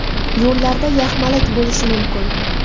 Yo‘llarda yaxmalak bo‘lishi mumkin.